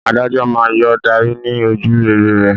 Adájọ́ náà yóò darí ní ojúrere rẹ̀.